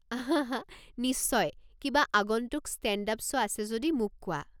হা হা নিশ্চয়! কিবা আগন্তুক ষ্টে'ণ্ড-আপ শ্ব' আছে যদি মোক কোৱা।